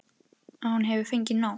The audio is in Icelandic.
Að hún hefur fengið nóg.